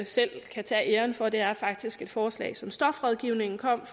selv kan tage æren for det er faktisk et forslag som stofrådgivningen kom